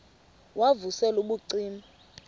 wav usel ubucima